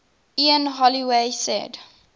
ian holloway said